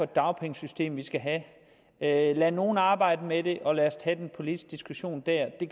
dagpengesystem vi skal have have lad nogle arbejde med det og lad os tage den politiske diskussion dér det